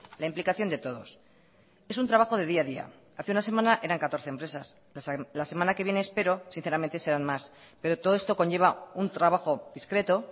la implicación de todos es un trabajo de día a día hace una semana eran catorce empresas la semana que viene espero sinceramente sean más pero todo esto conlleva un trabajo discreto